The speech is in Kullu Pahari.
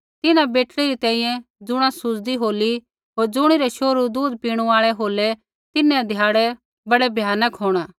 तिन्हां बेटड़ी री तैंईंयैं ज़ुणा सुज़दी होली होर ज़ुणिरै शोहरू दूधा पीणू आल़ै होलै तिन्हां ध्याड़ै बड़ै भयानक होंणा